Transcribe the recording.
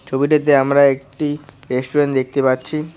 ছবিটাতে আমরা একটি রেস্টুরেন্ট দেখতে পাচ্ছি।